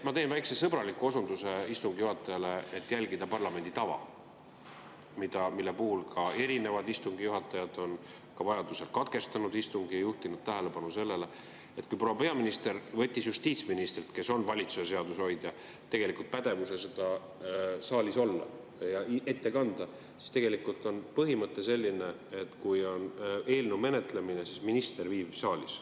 Ma teen väikese sõbraliku osunduse istungi juhatajale: järgida parlamendi tava, mille puhul on erinevad istungi juhatajad vajadusel katkestanud istungi ja juhtinud tähelepanu sellele, et kui proua peaminister võttis justiitsministrilt, kes on valitsuse seaduse hoidja, tegelikult pädevuse seda saalis ette kanda, siis tegelikult on põhimõte selline, et kui on eelnõu menetlemine, siis minister viibib saalis.